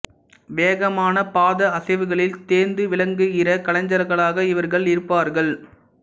வேகமான பாத அசைவுகளில் தேர்ந்து விளங்குகிற கலைஞர்களாக இவர்கள் இருப்பார்கள்